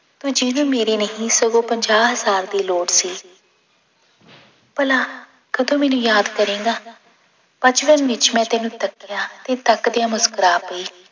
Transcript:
ਤੂੰ ਜਿਵੇਂ ਮੇਰੀ ਨਹੀਂ ਸਗੋਂ ਪੰਜਾਹ ਹਜ਼ਾਰ ਦੀ ਲੋੜ ਸੀ ਭਲਾ ਕਦੋਂ ਮੈਨੂੰ ਯਾਦ ਕਰੇਂਗਾ, ਬਚਪਨ ਵਿੱਚ ਮੈਂ ਤੈਨੂੰ ਤੱਕਿਆ ਤੇ ਤੱਕਦਿਆਂ ਮੁਸਕਰਾ ਪਈ